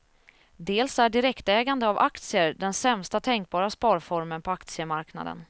Dels är direktägande av aktier den sämsta tänkbara sparformen på aktiemarknaden.